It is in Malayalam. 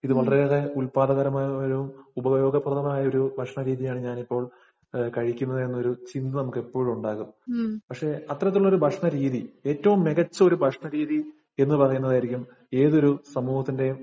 ഇത് വളരെയേറെ ഉത്പാദകപരമായ ഒരു ഉപയോഗപ്രദമായ ഒരു ഭക്ഷണരീതിയാണ്‌ ഞാനിപ്പോള്‍ കഴിക്കുന്നത് എന്ന് ഒരു ചിന്ത നമുക്ക് എപ്പോഴുമുണ്ടാകും. പക്ഷെ അത്തരത്തിലുള്ള ഒരു ഭക്ഷണ രീതി ഏറ്റവും മികച്ച ഒരു ഭക്ഷണ രീതി എന്ന് പറയുന്നതായിരിക്കും ഏതൊരു സമൂഹത്തിന്‍റെയും